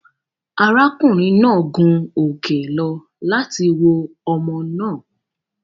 Ará kùnrin náà gun òkè lọ láti wo omo náà